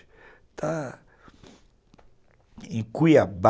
Está em Cuiabá.